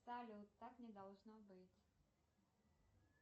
салют так не должно быть